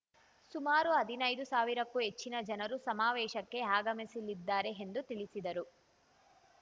ಸುಮಾರು ಹದಿನೈದು ಸಾವಿರಕ್ಕೂ ಹೆಚ್ಚಿನ ಜನರು ಸಮಾವೇಶಕ್ಕೆ ಆಗಮಿಸಲಿದ್ದಾರೆ ಎಂದು ತಿಳಿಸಿದರು